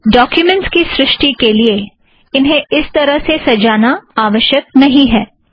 लेकिन डोक्युमेंट्स के निर्माण के लिए इन्हें इस तरह सजाना आवश्यक नहीं है